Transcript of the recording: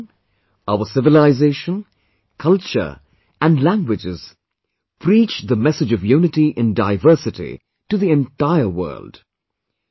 My dear countrymen, our civilization, culture and languages preach the message of unity in diversity to the entire world